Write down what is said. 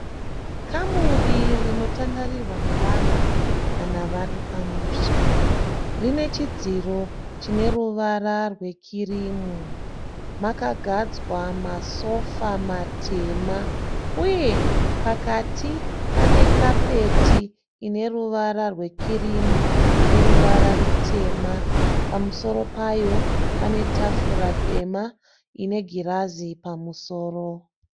Kamuri rinotandarirwa nevanhu kana vari pamusha. Rine chidziro chine ruvara rwekirimu. Makagadzwa masofa matema uye pakati pane kapeti ine ruvara rwekirimu neruvara rutema. Pamusoro payo pane tafura dema ine girazi pamusoro.